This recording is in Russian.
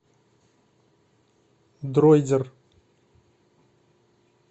дройдер